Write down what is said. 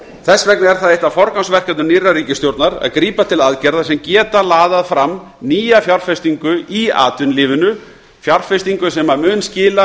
þess vegna er það eitt af forgangsverkefnum nýrrar ríkisstjórnar að grípa til aðgerða sem geta laðað fram nýja fjárfestingu í atvinnulífinu fjárfestingu sem mun skila